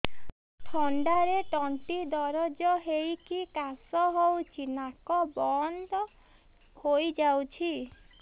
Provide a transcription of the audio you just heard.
ଥଣ୍ଡାରେ ତଣ୍ଟି ଦରଜ ହେଇକି କାଶ ହଉଚି ନାକ ବନ୍ଦ ହୋଇଯାଉଛି